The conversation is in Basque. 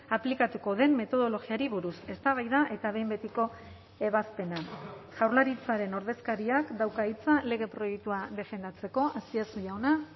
aplikatuko den metodologiari buruz eztabaida eta behin betiko ebazpena jaurlaritzaren ordezkariak dauka hitza lege proiektua defendatzeko azpiazu jauna